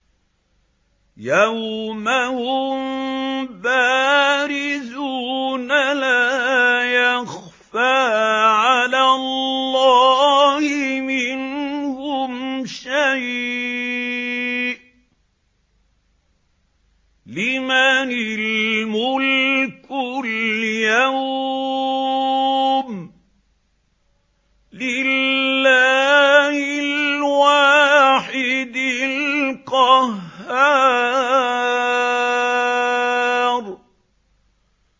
يَوْمَ هُم بَارِزُونَ ۖ لَا يَخْفَىٰ عَلَى اللَّهِ مِنْهُمْ شَيْءٌ ۚ لِّمَنِ الْمُلْكُ الْيَوْمَ ۖ لِلَّهِ الْوَاحِدِ الْقَهَّارِ